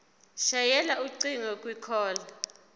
shayela ucingo kwicall